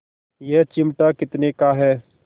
यह चिमटा कितने का है